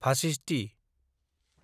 भाषिष्टि